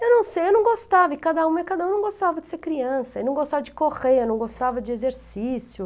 Eu não sei, eu não gostava, e cada um não gostava de ser criança, não gostava de correr, não gostava de exercício.